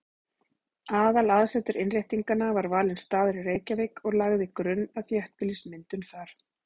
Aðalaðsetur Innréttinganna var valinn staður í Reykjavík og lagði grunn að þéttbýlismyndun þar.